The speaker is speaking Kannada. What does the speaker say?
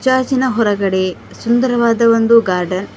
ಗಾಜಿನ ಹೊರಗಡೆ ಒಂದು ಸುಂದರವಾದ ಗಾರ್ಡನ್ --